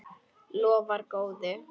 Lofar góðu.